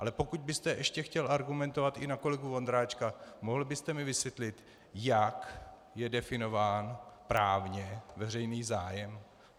Ale pokud byste ještě chtěl argumentovat i na kolegu Vondráčka, mohl byste mi vysvětlit, jak je definován právně veřejný zájem?